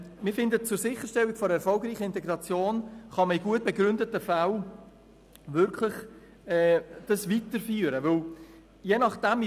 Wir finden, dass zur Sicherstellung einer erfolgreichen Integration in gut begründeten Fällen wirklich eine Weiterführung möglich sein sollte.